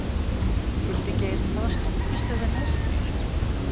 Hildigeir, hvaða stoppistöð er næst mér?